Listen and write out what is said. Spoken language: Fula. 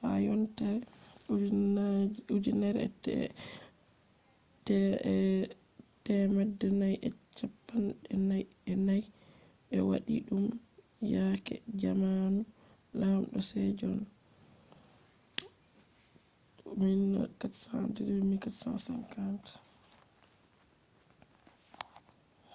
ha yontere 1444 ɓe waɗi ɗum yake zamanu laamdo sejon 1418 – 1450